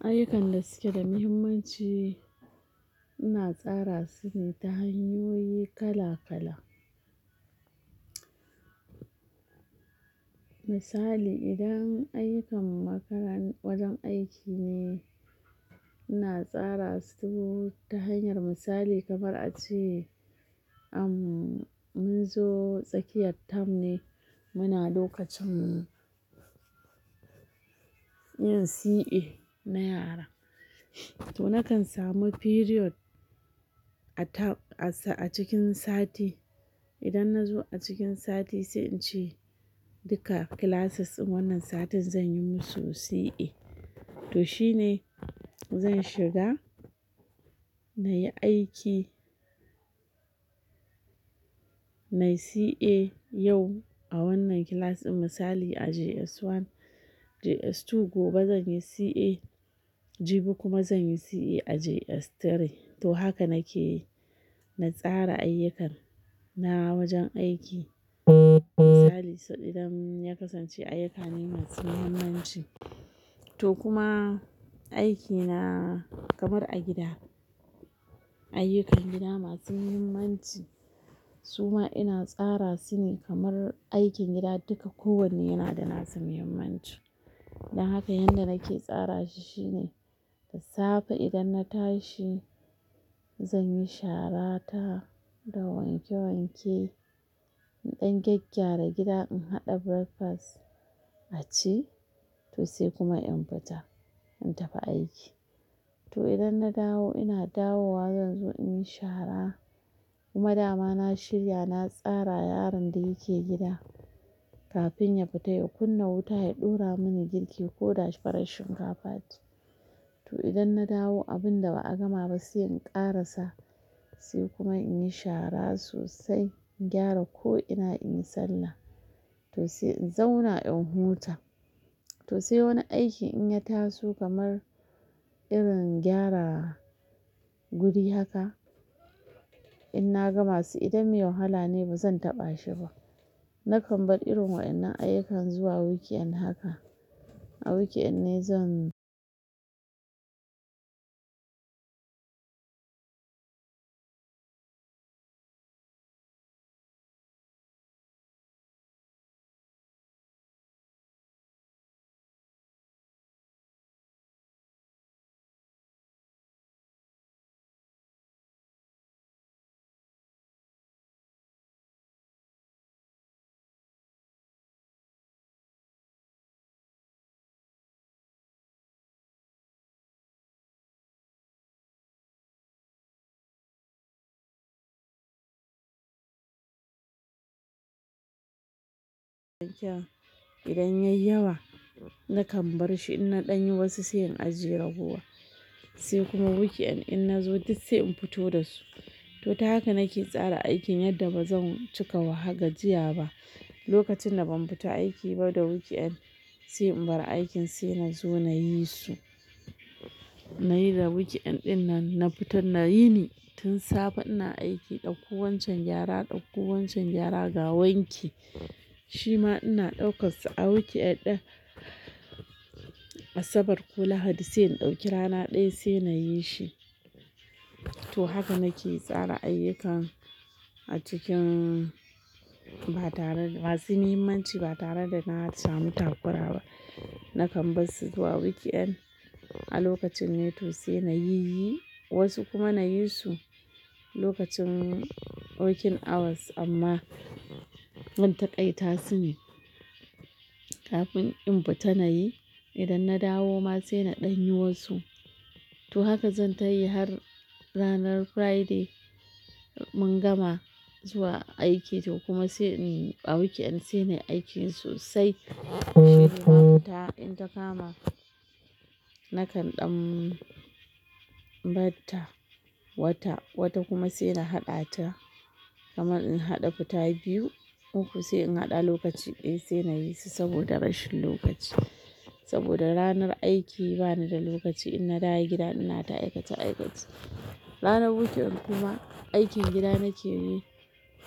Ayyukan da suke da muhimmanci, ina tsara su ne ta hanyoyi kala kala. Misali idan ayyukan makarantar wajen aiki ne, ina tsara su ta hanyar misali, kamar a ce mun zo tsakiyar term ne muna lokacin yin CA na yara, to nakan samu period a cikin sati. Idan na zo a cikin sati sai in ce duka classes in wannan satin zan yi musu CA, to shine zan shiga na yi aiki, na yi CA yau a wannan class ɗin misali a JS1, JS2 gobe zan yi CA, jibi kuma zan yi CA a JS3, to haka nake na tsara ayyukan na wajen aiki. Misali sai idan ya kasance ayyuka ne masu muhimmanci, to kuma aikina kamar a gida; ayyukan gida masu muhimmanci su ma ina tsara su ne kamar aikin gida duka kowanne yana da nasa muhimmanci. Dan haka yanda nake tsara shi shine da safe idan na tashi zan yi shara ta da wanke wanke in ɗan gyaggyara gida in haɗa breakfast a ci, to sai kuma in fita in tafi aiki. To idan na dawo ina dawowa zan zo in yi shara kuma dama na shirya na tsara yaron da yake gida kafin ya fita ya kunna wuta ya ɗora mini girki ko da farar shinkafa ce. To idan na dawo abun da ba'a gama ba sai in ƙarasa, sai kuma in yi shara sosai in gyara ko'ina in yi sallah, to sai in zauna in huta. To sai wani aiki in ya taso kamar irin gyara guri haka in na gama su, idan mai wahala ne ba zan taɓa shi ba nakan bar irin waɗannan ayyukan zuwa weekend haka. A weekend ne zan idan ya yi yawa nakan bar shi in na ɗan yi wasu sai in ajiye ragowar, sai kuma weekend in na zo duk sai in fito da su. To ta haka nake tsara aikin yadda ba zan cika gajiya ba. Lokacin da ban fita aiki ba da weekend, sai in bar aikin sai na zo na yi su. Na yi da weekend ɗin nan na fita na yini tun safe ina aiki ɗauko wancan gyara ɗauko wancan gyara ga wanki. Shi ma ina ɗauka su a weekend ɗin Asabar ko Lahadi, sai in ɗauki rana ɗaya sai na yi shi. To haka nake tsara ayyukan a cikin ba tare da masu muhimmanci ba tare da na samu takura ba. Nakan bar su zuwa weekend a lokacin ne sai na yi, wasu kuma na yi su lokacin working hours amma zan taƙaita su ne kafin in fita nayi. Idan na dawo ma sai na ɗan yi wasu. To haka zan tayi har ranar Friday mun gama zuwa aiki, toh kuma sai in yi a weekend sai na yi aikin sosai. Sai kuma in ta kama nakan ɗan barta wata, wata kuma sai na haɗa ta kamar in haɗa futa biyu, uku sai in haɗa lokaci ɗaya sai na yi su saboda rashin lokaci. Saboda ranar aiki bani da lokaci idan na dawo gida ina ta aikace-aikace. Ranar weekend kuma aikin gida nake yi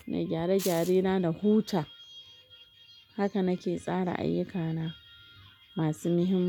na gyare-gyare na, na huta. Haka nake tsara ayyukana masu muhimmanci.